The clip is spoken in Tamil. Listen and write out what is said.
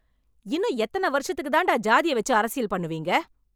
இன்னும் எத்தனை வருஷத்துக்கு தான் டா சாதியை வெச்சு அரசியல் பண்ணுவீங்க?